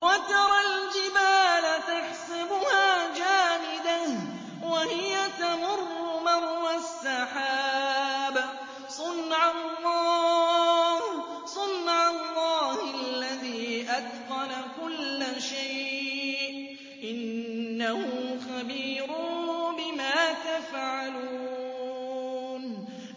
وَتَرَى الْجِبَالَ تَحْسَبُهَا جَامِدَةً وَهِيَ تَمُرُّ مَرَّ السَّحَابِ ۚ صُنْعَ اللَّهِ الَّذِي أَتْقَنَ كُلَّ شَيْءٍ ۚ إِنَّهُ خَبِيرٌ بِمَا تَفْعَلُونَ